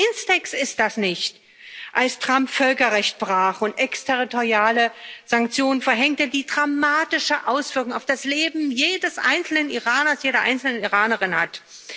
Auch in Bezug auf INSTEX nicht, als Trump Völkerrecht brach und exterritoriale Sanktionen verhängte, die dramatische Auswirkungen auf das Leben jedes einzelnen Iraners, jeder einzelnen Iranerin haben.